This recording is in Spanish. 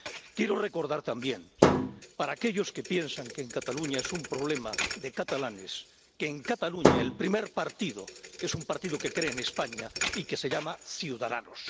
Quiero recordar también —para aquellos que piensan que Cataluña es un problema de catalanes— que en Cataluña el primer partido es un partido que cree en España y que se llama Ciudadanos.